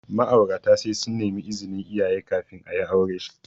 Ma'aurata sai sun nemi izinin iyaye kafin ayi aure.